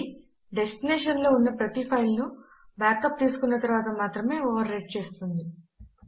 అది డెస్టినేషన్ లో ఉన్న ప్రతి ఫైల్ నుబాక్ అప్ తీసుకున్న తరువాత మాత్రమే ఓవర్ రైట్ చేస్తుంది